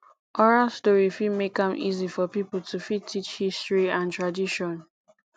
oral story fit make am easy for pipo to fit teach history and tradition